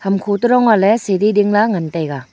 dingkho to dong ngahley sidi dingla ngan taiga.